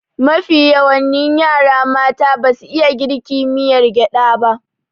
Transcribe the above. Mafi yawani yara mata basu iya girka miyar gyaba